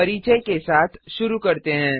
परिचय के साथ शुरू करते हैं